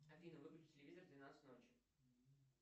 афина выключи телевизор в двенадцать ночи